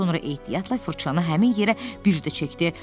Sonra ehtiyatla fırçanı həmin yerə bir də çəkdi.